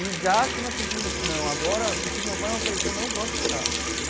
E já achando assim que, não, agora o que meu pai me oferecer eu não vou aceitar.